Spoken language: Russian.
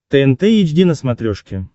тнт эйч ди на смотрешке